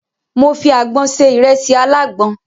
Mo fi àgbọn se ìrẹsì alágbọn.